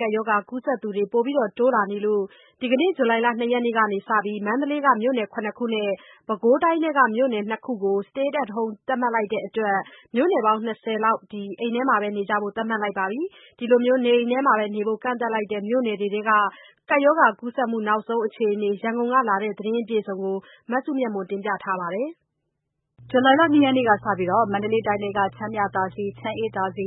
ကပ်ရောဂါကူးစက်သူ တိုးလာနေလို့ ဒီနေ့ ဇူလိုင် ၂ရက်ကစပြီး မန္တလေးက မြို့နယ် ၇ခုနဲ့ ပဲခူးတိုင်းထဲက မြို့နယ် ၂ခုကို Stay at Home သတ်မှတ်လိုက်တဲ့အတွက် Stay at Home သတ်မှတ်လိုက်တဲ့ မြို့နယ်ပေါင်း ၂၀ ရှိသွားပါပြီ။ နေအိမ်တွေထဲမှာနေဖို့ ကန့်သတ်လိုက်တဲ့ မြို့နယ်တွေရဲ့ ကပ်ရောဂါကူးစက်မှု အခြေအနေတွေနဲ့ ပတ်သက်လို့ ရန်ကုန်ကလာတဲ့ သတင်းအပြည့်အစုံကို မစုမြတ်မွန် ပြောပြမှာပါ။ ဇူလိုင်လ ၂ ရက်နေ့ကစပြီး မန္တလေးတိုင်းထဲက ချမ်းမြသာစည်၊ ချမ်းအေးသာစံ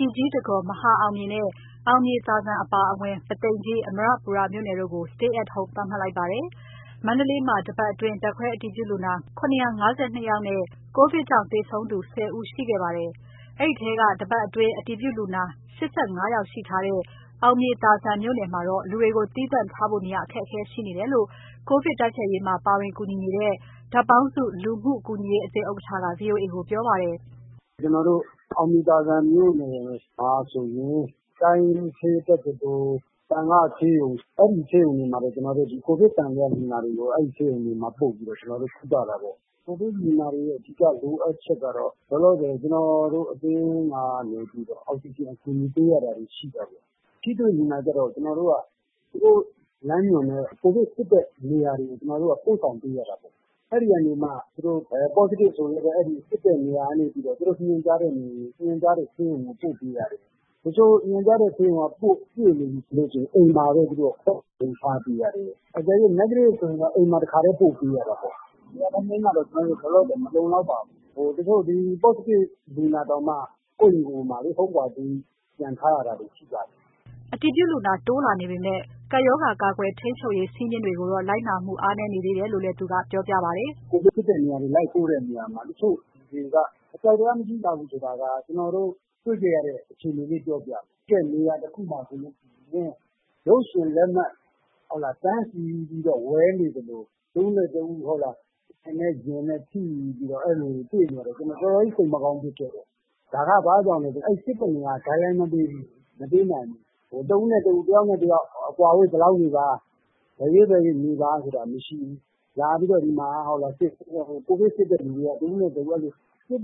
၊ ပြည်ကြီးတံခွန်၊ မဟာအောင်မြေနဲ့ အောင်မြေသာဇံ အပါအဝင် ပုသိမ်ကြီး၊ အမရပူရ မြို့နယ်တို့ကို Stay at Home သတ်မှတ်လိုက်ပါတယ်။ မန္တလေးမှာ တပတ်တာကာလအတွင်း ဓာတ်ခွဲအတည်ပြုလူနာ ၇၅၂ ဦးနဲ့ ကိုဗစ်ကြောင့်သေဆုံးသူ ၁၀ ဦး ရှိခဲ့ပြီး အဲဒီထဲက တပတ်တာအတွင်း အတည်ပြုလူနာ ၈၅ ဦးရှိထားတဲ့ အောင်မြေသာဇံမြို့နယ်မှာတော့ လူနာတွေကိုသီးသန့်ထားဖို့ နေရာအခက်အခဲရှိနေတယ်လို့ ကိုဗစ်တိုက်ဖျက်ရေးမှာ ပါဝင်ကူညီနေတဲ့ ဓါတ်ပေါင်းစုလူမှု ကူညီရေးအသင်း ဥက္ကဋ္ဌက ဗွီအိုအေကိုပြောပါတယ်။ "ကျနော်တို့ အောင်မြေသာဇံမြို့နယ်မှာဆိုရင် ကိုဗစ်သံသယလူနာတွေကို တိုင်းရင်းဆေးတက္ကသိုလ်၊ သံဃာ့ဆေးရုံတွေမှာ ပို့ပေးရတာပေါ့။ ကိုဗစ်လူနာတွေရဲ့ အဓိကလိုအပ်ချက်ကတော့ လောလောဆယ် ကျနော်တို့အသင်းကနေပြီးတော့ အောက်ဆီဂျင်ကူညီပေးရတာတွေ ရှိတယ်။ ထိတွေ့လူနာကျတော့ သူတို့လမ်းညွှန်တဲ့ ကိုဗစ်စစ်တဲ့နေရာတွေကို ပို့ဆောင်ပေးရတာပေါ့။ အဲဒီကနေမှ Positive ဆိုရင်လည်း စစ်တဲ့နေရာကနေမှ သူတို့စီစဉ်ထားတဲ့ဆေးရုံကို ပို့ပေးရတယ်။ တချို့ညွှန်ကြားတဲ့ဆေးရုံက ပြည့်နေပြီဆိုရင် အိမ်မှာပဲ သူတို့ကို Home Quarantine ထားပေးရတယ်။ အကယ်၍ Negative ဆိုရင်တော့ အိမ်တခါတည်း ပို့ပေးရတာပေါ့။ နေရာထိုင်ခင်းကတော့ လောလောဆယ် မလုံလောက်ပါဘူး။ တချို့ Positive လူနာတောင်မှ ကိုယ့်အိမ်မှာပဲ Home Quarantine ပြန်နေရတာရှိတယ်။" အတည်ပြုလူနာ တိုးလာနေပေမဲ့ ကပ်ရောဂါကာကွယ် ထိန်းချုပ်ရေး စည်းမျဉ်းတွေကိုတော့ လိုက်နာမှုအားနည်းနေတယ်လို့လည်း သူကဆက်ပြောပါတယ်။ "ကိုဗစ်စစ်တဲ့နေရာတွေ လိုက်ပို့တဲ့အခါမှာ တချို့လူတွေက အကြောက်တရားမရှိကြဘူး ဆိုတာက ကျနော်တို့ တွေ့ခဲ့ရတဲ့အခြေအနေလေး ပြောပြမယ်။ စစ်တဲ့နေရာတခုမှာဆိုရင် ရုပ်ရှင်လက်မှတ် တန်းစီပြီးဝယ်နေသလို၊ တဦးနဲ့တဦး တင်နဲ့ရင်နဲ့ ထိပြီးတော့ တွေ့နေရတာတွေ ကျနော်တော်တော်ကြီး စိတ်မကောင်းဖြစ်ခဲ့တယ်။ ဒါက ဘာကြောင့်လဲဆိုရင် အဲဒီစစ်တဲ့နေရာက Guideline မပေးဘူး။ တဦးနဲ့ တဦး အကွာအဝေးဘယ်လောက်နေပါဆိုတာ မရှိဘူး။ ကိုဗစ်စစ်တဲ့လူတွေက အဲလိုပြွတ်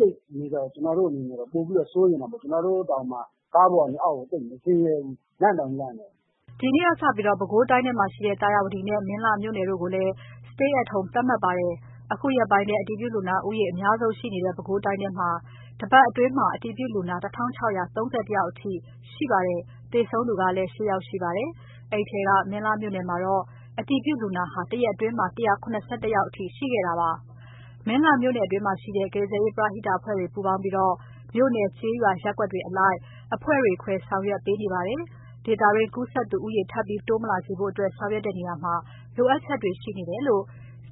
သိပ်နေတော့ ကျနော်တို့အနေနဲ့ ပိုပြီးတော့စိုးရိမ်တာပေါ့။ ကျနော်တို့တွေတောင်မှ ကားပေါ်ကနေ အောက်ကို သိပ်မဆင်းရဲဘူး။ လန့်တောင်လန့်တယ်။" ဒီနေ့ကစပြီး ပဲခူးတိုင်းမှာရှိတဲ့ သာယာဝတီနဲ့ မင်းလှမြို့နယ်တို့ကိုလည်း Stay at Home သတ်မှတ်လိုက်ပါတယ်။ အခုရက်ပိုင်းထဲ အတည်ပြုလူနာ ဦးရေအများဆုံးရှိနေတဲ့ ပဲခူးတိုင်းမှာ တပတ်တာအတွင်း လူဦးရေ ၁,၆၃၃ ဦးအထိ ကူးစက်ခံထားရပြီး၊ သေဆုံးသူ ၈ ဦး ရှိခဲ့ပါတယ်။ အဲဒီထဲက မင်းလှမြို့နယ်မှာတော့ အတည်ပြုလူနာဟာ ရက်သတ္တပတ်ထဲ ၁၇၁ ဦးအထိ ရှိခဲ့ပါတယ်။ မင်းလှမြို့နယ်အတွင်းမှာရှိတဲ့ ကယ်ဆယ်ရေးပရဟိတ အဖွဲ့တွေ ပူးပေါင်းပြီး မြို့နယ်၊ ကျေးရွာ၊ ရပ်ကွက်အလိုက် အဖွဲ့ခွဲ ဆောင်ရွက်ပေးနေတာပါ။ ဒေသတွင်း ကူးစက်သူဦးရေ ထပ်ပြီးတိုးမလာစေဖို့ ဆောင်ရွက်တဲ့နေရာမှာ လိုအပ်ချက်တွေရှိနေတယ်လို့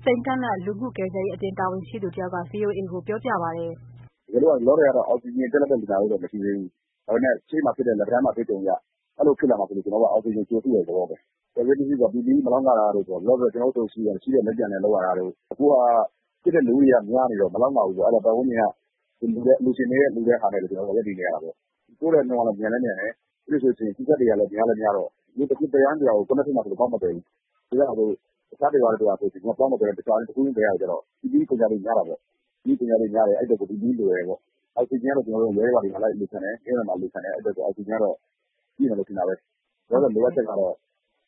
စိန်ကန့်လန့်လူမှု ကယ်ဆယ်ရေးအသင်း တာဝန်ရှိသူတဦးက ဗွီအိုအေကိုပြောပါတယ်။ "ကျနော်တို့ဆီမှာ လောလောဆယ်တော့ အောက်ဆီဂျင်ပြတ်လတ်တဲ့ လူနာတွေမရှိသေးဘူး။ ဒါပေမဲ့ ရှေ့မှာဖြစ်ခဲ့တဲ့ လက်ပံတန်းအတွေ့အကြုံအရ အဲလိုဖြစ်လာမှာစိုးလို့ ကျနော်တို့က အောက်ဆီဂျင်ကို ကြိုစုတဲ့သဘောပဲ။ ကယ်ဆယ်ရေးပစ္စည်းဆိုတာက PPE မလောက်ငတာတို့ပေါ့၊ အသင်းက လက်ကျန်နဲ့လုပ်ရတာတို့။ အခုက ဖြစ်တဲ့လူဦးရေက များနေတော့ မလောက်ငဘူးပေါ့။ အဲတော့ ပတ်ဝန်းကျင်ကလှူတာနဲ့ပဲ ကျနော်တို့တွေ ရပ်တည်နေရတာပေါ့။ ကူးတဲ့နှုန်းက မြန်လည်းမြန်တယ်၊ ပြီးတော့ Contact တွေက များလည်းများတော့ တရွာနဲ့တရွာကို Contact ဖြစ်မှာစိုးလို့ ပေါင်းမသယ်ဘူး။ အဲတော့ တဦးချင်းသယ်တဲ့အခါကျတော့ PPE ကုန်ကျတာများတာပေါ့။ အဲအတွက်ကို PPE လိုတယ်ပေါ့။ အောက်ဆီဂျင်ကတော့ ကျေးရွာတွေ၊ မြို့နယ်တွေမှာ လိုက်ပြီးအလှူခံတဲ့အတွက် အောက်ဆီဂျင်ကတော့ ပြည့်မယ်လို့ထင်တာပဲ။ လောလောဆယ်လိုအပ်ချက်ကတော့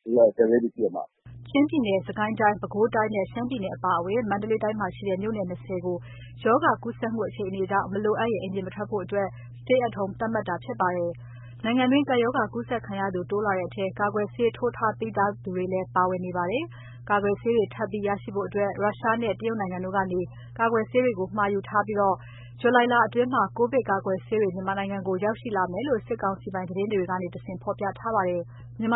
အဓိက ကယ်ဆယ်ရေးပစ္စည်းပဲ။" ချင်းပြည်နယ်၊ စစ်ကိုင်းတိုင်း၊ ပဲခူးတိုင်းနဲ့ ရှမ်းပြည်နယ် အပါအဝင် မန္တလေးတိုင်းတို့မှာရှိတဲ့ မြို့နယ် ၂၀ ကို ရောဂါကူးစက်မှုအခြေအနေကြောင့် မလိုအပ်ရင် အပြင်မထွက်ဖို့ Stay at Home သတ်မှတ်ထားတာပါ။ နိုင်ငံတွင်း ကပ်ရောဂါကူးစက်ခံရသူ တိုးလာတဲ့အထဲ ကာကွယ်ဆေးထိုးထားပြီးသူတွေလည်း ပါဝင်နေပါတယ်။ ကာကွယ်ဆေးတွေ ထပ်ပြီးရရှိဖို့အတွက် ရုရှားနဲ့ တရုတ်နိုင်ငံတို့ကနေ မှာယူထားတယ်လို့ သိရပြီး ဇူလိုင်လအတွင်း ကိုဗစ်ကာကွယ်ဆေးတွေ မြန်မာနိုင်ငံကိုရောက်ရှိမယ်လို့ စစ်ကောင်စီပိုင် သတင်းမီဒီယာကနေတဆင့် ဖော်ပြထားပါတယ်။ ကျန်းမာ